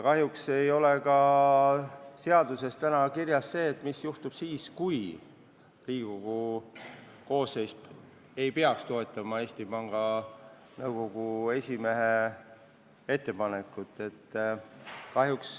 Kahjuks ei ole seaduses kirjas ka seda, mis juhtub siis, kui Riigikogu koosseis ei toeta Eesti Panga Nõukogu esimehe ettepanekut.